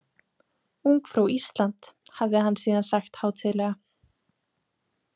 Ungfrú Ísland, hafði hann síðan sagt hátíðlega.